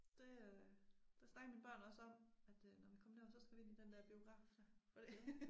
Det øh det snakker mine børn også om at øh når vi kom derover så skal vi ind i den dér biograf der for det